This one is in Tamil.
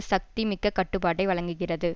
சக்தி மிக்க கட்டுப்பாட்டை வழங்குகிறது